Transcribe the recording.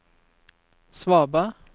svaberg